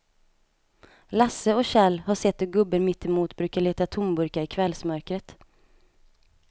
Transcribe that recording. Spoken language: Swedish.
Lasse och Kjell har sett hur gubben mittemot brukar leta tomburkar i kvällsmörkret.